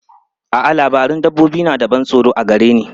A'a, labarun dabbobi suna da ban tsoro a gare ni.